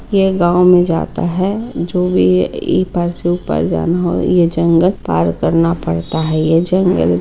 ये गांव में जाता है जो ई भी ए ऊपर जाना हो ये जंगल पार करना पड़ता है ये जंगल--